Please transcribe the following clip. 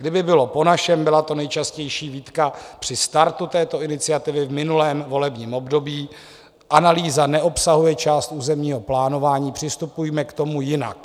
Kdyby bylo po našem - byla to nejčastější výtka při startu této iniciativy v minulém volebním období: analýza neobsahuje část územního plánování, přistupujme k tomu jinak.